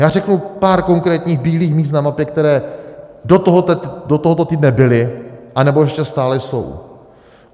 Já řeknu pár konkrétních bílých míst na mapě, která do tohoto týdne byla anebo ještě stále jsou.